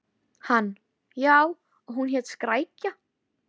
Hann: Já, og hún hét Skrækja.